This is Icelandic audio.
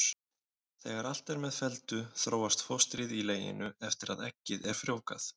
Þegar allt er með felldu þróast fóstrið í leginu eftir að eggið er frjóvgað.